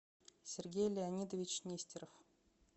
сергей леонидович нестеров